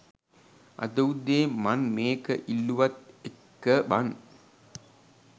අද උදේ මන් මේක ඉල්ලුවත් එක්ක බන්